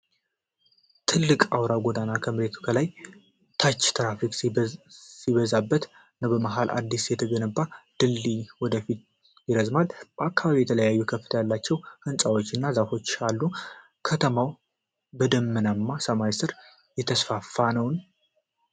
ትልቁ አውራ ጎዳና ከመሬት በላይና ታች ትራፊክ ሲበዛበት ነው። በመሃል አዲስ የተገነባው ድልድይ ወደ ፊት ይረዝማል። በአካባቢው የተለያዩ ከፍታ ያላቸው ሕንፃዎች እና ዛፎች አሉ። ከተማዋ በደመናማ ሰማይ ስር እየተስፋፋች ነውን?